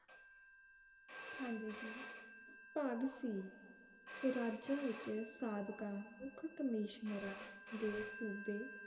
ਹਾਂਜੀ ਜੀ ਭਾਗ ਸੀ ਰਾਜਾਂ ਵਿਚ ਸਾਬਕਾ ਮੁਖ ਕਮੀਸ਼ਨਰਾਂ ਦੇ ਸੂਬੇ